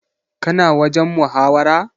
Ka na wajen muhawara?